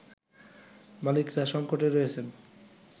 মালিকরা সঙ্কটে রয়েছেন